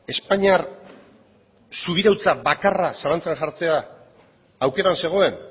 espainiar subirautza bakarra zalantzan jartzea aukeran zegoen